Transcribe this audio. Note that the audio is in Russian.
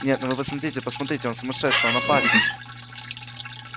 нет ну вы посмотрите посмотрите он сумасшедший он опасен